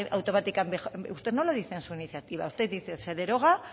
automáticamente usted no lo dice en su iniciativa usted dice se deroga